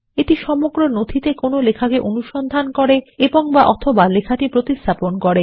এটি সমগ্র নথিতে লেখাটি অনুসন্ধান করে এবং অথবা লেখাটি প্রতিস্থাপন করে